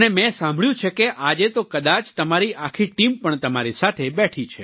અને મેં સાંભળ્યું છે કે આજે તો કદાચ તમારી આખી ટીમ પણ તમારી સાથે બેઠી છે